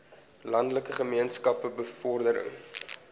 landelike gemeenskappe bevordering